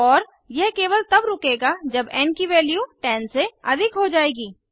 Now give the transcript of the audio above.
और यह केवल तब रुकेगा जब एन की वैल्यू 10 से अधिक हो जाएगी